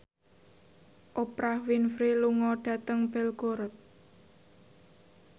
Oprah Winfrey lunga dhateng Belgorod